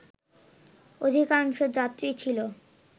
অধিকাংশ যাত্রী ছিল